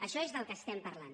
això és del que estem parlant